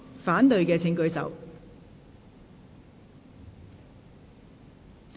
反對的請舉手。